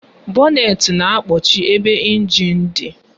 Bọnetị na-ekpuchi ebe ịnjin dị